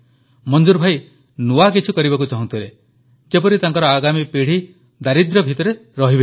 ମଂଜୁର ଭାଇ ନୂଆକିଛି କରିବାକୁ ଚାହୁଁଥିଲେ ଯେପରି ତାଙ୍କର ଆଗାମୀ ପିଢ଼ି ଦାରିଦ୍ର୍ୟ ଭିତରେ ରହିବେ ନାହିଁ